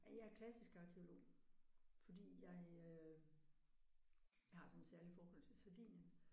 Ja jeg er klassisk arkæolog. Fordi jeg øh jeg har sådan et særligt forhold til Sardinien